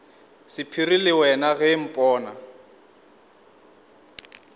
sephiri le wena ge mpona